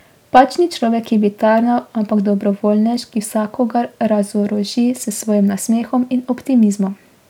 Pač ni človek, ki bi tarnal, ampak dobrovoljnež, ki vsakogar razoroži s svojim nasmehom in optimizmom.